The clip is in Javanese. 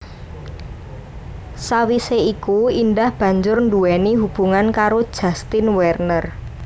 Sawisé iku Indah banjur nduwéni hubungan karo Justin Werner